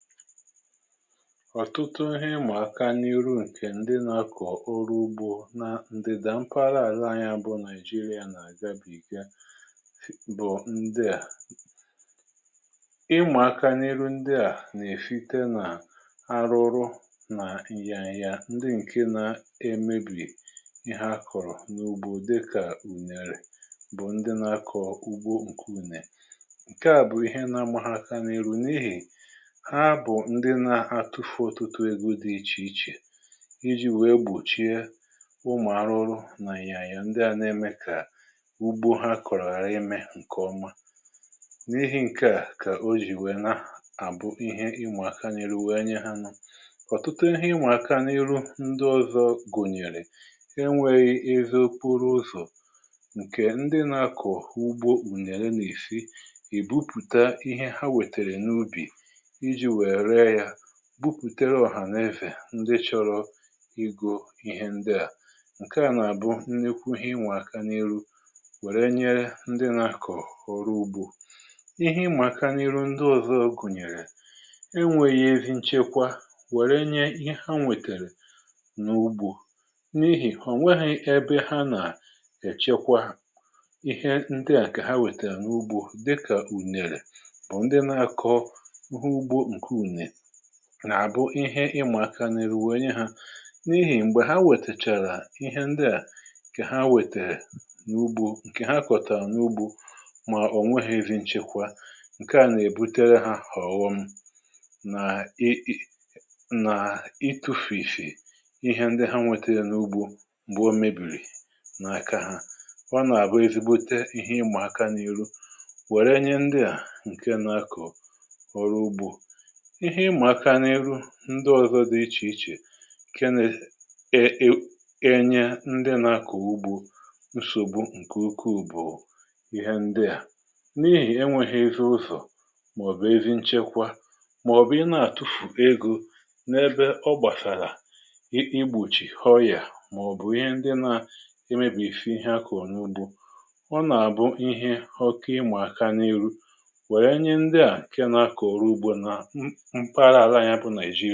ọ̀tụtụ ihe ịmà aka n’iru ǹkè ndị nȧ-akọ̀ orụ ugbȯ nȧ ndịdà mpaghara àla anyi a bụ naijiria nà-àgabìga bụ̀ ndị à. ịmà aka n’iru ndị à nà-èsite nà arụ ụrụ nà ịyȧya ndị ǹke na-emebì ihe ha kọ̀rọ̀ n’ugbo dịkà ùnèrè bụ̀ ndị nȧ-akọ̀ọ̀ ugbo ǹkè ùnè ǹke à bụ̀ ihe nȧ-amȧ hȧ aka n’iru n’ihì ha bu ndị na-atụfụ otụtụ ego dị ichè ichè iji̇ wee gbòchie ụmụ̀ arụrụ nà ị̀yànya ndị à ne-eme kà ugbo ha kọ̀rọ̀ hara imė ǹkè ọma. n’ihi ǹke à kà o jì nwèe nà àbụ ihe ịma aka n'ihu wee yere ha. Otụtụ ndị ọzọ gùnyèrè e nweghị̇ ezi okporo ụzọ̀ ǹkè ndị nà-akọ̀ ugbo ùnère nà-èsi ebupùta ihe ha wètèrè n’ubì iji wee ree ya ,bupùtèrè ọ̀hàna-ezè ndị chọrọ igȯ ihe ndị à ǹke à nà-àbụ nlekwu ihe inwà aka n’iru ,wèrè e nye ndị nȧ-akọ̀ ọrụ ugbȯ .ihe imà aka n’iru ndị ọ̀zọ gunyere enwèghì ezi nchekwa wèrè enyee ihe ha nwètèrè n’ugbȯ n’ihì onweghi̇ ebe ha nà-èchekwa ihe ndị à kà ha wètèrè n’ugbȯ dịkà ùnèrè ,bu ndị nà Akoo ugbo nke ùnè nà àbụ ihe ịma aka n’iru wee nyee ha n’ihì m̀gbè ha wètèchàrà ihe ndị à kà ha wètèrè n’ugbȯ ǹkè ha kọ̀tàrà n’ugbȯ mà o nweghì iri nchekwa ǹke à nà-èbutere hȧ ohọ̀ọ̀ghọm nà ị..nà itu̇fìsì ihe ndị ha nwètèrè n’ugbȯ m̀gbè o mèbìrì n’aka ha. ọ nà-àbụ ezigbote ihe ịma aka n’ihu wère nye ndị à ǹke nȧ-akọ̀ ọrụ ugbȯ. ihe ịmaka n’iru ndị ọzọ di ichè ichè kenė e enye ndị nȧ-akọ̀ ọrụ ogbu nsògbu ǹkè ukwu bu ihe ndị a,n’ihì enwėghi̇ ezi ụzọ̀ màọ̀bụ̀ ezi nchekwa màọ̀bụ̀ ị na-àtụfù egȯ n’ebe ọ gbàsàlà i igbochìi ọ̀rị̀à màọ̀bụ̀ ihe ndị nȧ e mebìfi ihe akuru na-ugbo. ọ nà-àbụ ihe ọke ịmà aka n’iru wèe nye ndị à ǹkẹ na-akọ̀ ọrụ ugbȯ nà mpaghara àla anyi bụ naìjiri.